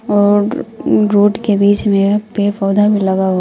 और ऊं रोड के बीच में के पेड़ पौधा भी लगा हुआ--